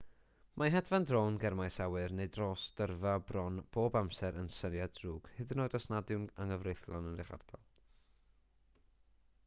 mae hedfan drôn ger maes awyr neu dros dyrfa bron bob amser yn syniad drwg hyd yn oed os nad yw'n anghyfreithlon yn eich ardal